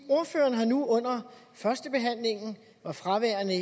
ordføreren har nu under førstebehandlingen han var fraværende